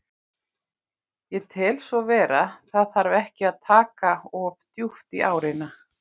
Ég tel svo vera, það þarf ekki að taka of djúpt í árina.